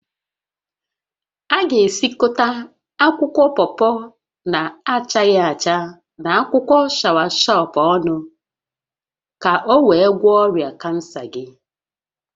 Ị ga-esikọta akwụkwọ pọpọ na-achaghị acha, na akwụkwọ shọawashọp ọnụ ka o wee gwọọ ọrịa kansa gị